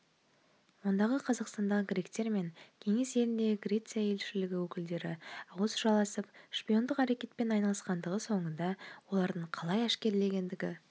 ондағы қазақстандағы гректермен кеңес еліндегі греция елшілігі өкілдері ауыз жаласып шпиондық әрекетпен айналысқандығы соңында олардың қалай әшкереленгендігі